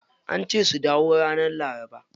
Ance su dawo ranar laraba.